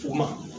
U ma